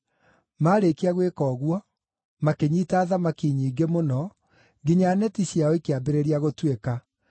Maarĩkia gwĩka ũguo, makĩnyiita thamaki nyingĩ mũno, nginya neti ciao ikĩambĩrĩria gũtuĩka.